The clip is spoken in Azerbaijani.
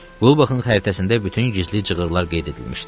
Qulbaxın xəritəsində bütün gizli cığırlar qeyd edilmişdi.